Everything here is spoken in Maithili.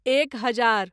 एक हजार